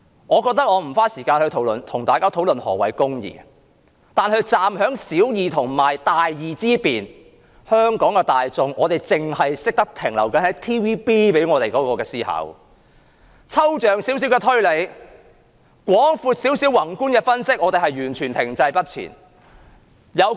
我不想花時間討論何謂"公義"，但站在小義與大義之辨，香港的大眾卻仍然只停留於 TVB 向我們灌輸的思考方式，連少許抽象推理，稍為廣闊或宏觀的分析也欠奉。